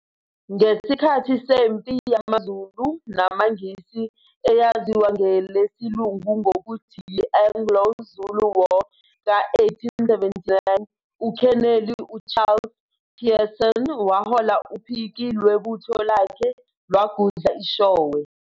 Ngesikhathi sempi yamaZulu namaNgisi, eyaziwa ngelesilungu ngokuthi yi-Anglo-Zulu War ka 1879, UKheneli u-Charles Pearson wahola uphiki lwebutho lakhe lwagudla iShowe.